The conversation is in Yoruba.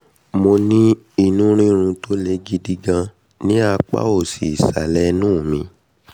mo ní inú rírun tó le gidi gan ní apá um òsì ìsàlẹ̀ inú mi